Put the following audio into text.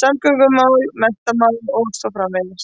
samgöngumál, menntamál og svo framvegis.